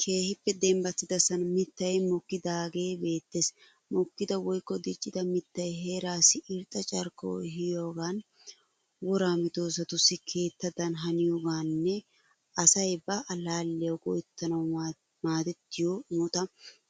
Keehippe dembbattidasan mittayi mokkidaagee beettes. Mokkida woyikko diccida mittay heeraassi irxxa carkkuwa ehiyogan, woraa medoosatussi keettadan haniyogaaninne asay ba allaalliyawu go'ettanawu maadettiyo imota